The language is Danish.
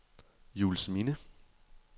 Juelsminde